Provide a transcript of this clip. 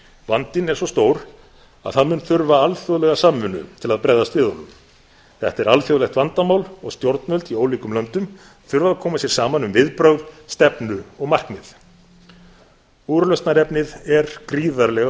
vandinn er svo stór að það mun þurfa alþjóðlega samvinnu til að bregðast við honum þetta er alþjóðlegt vandamál og stjórnvöld í ólíkum löndum þurfa að koma sér saman um viðbrögð stefnu og markmið úrlausnarefnið er gríðarlega